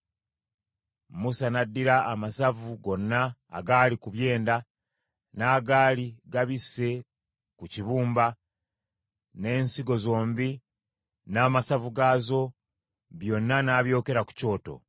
Musa n’addira amasavu gonna agaali ku byenda, n’agaali gabisse ku kibumba, n’ensigo zombi n’amasavu gaazo, byonna n’abyokera ku kyoto.